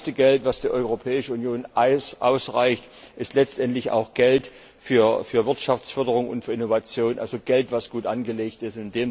Das meiste Geld, das die Europäische Union zuweist, ist letztendlich auch Geld für Wirtschaftsförderung und Innovation, also Geld, das gut angelegt ist.